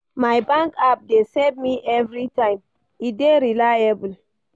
My bank app dey save me everytime, e dey reliable.